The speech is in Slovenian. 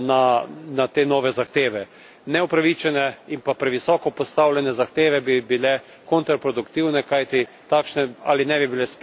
Neupravičene in pa previsoko postavljene zahteve bi bile kontraproduktivne, kajti takšne ali ne bi bile sprejete ali pa ne bi bile spoštovane.